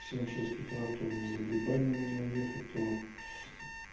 в семь шесть утра то за грибами нужно ехать то